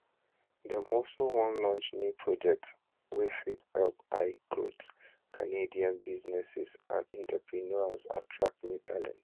dem also wan launch new projects wey fit help highgrowth canadian businesses and entrepreneurs attract new talent